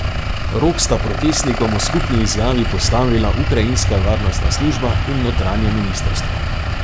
Rok sta protestnikom v skupni izjavi postavila ukrajinska varnostna služba in notranje ministrstvo.